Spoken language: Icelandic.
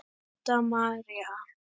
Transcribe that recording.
Setta María.